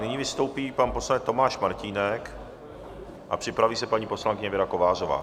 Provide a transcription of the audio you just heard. Nyní vystoupí pan poslanec Tomáš Martínek a připraví se paní poslankyně Věra Kovářová.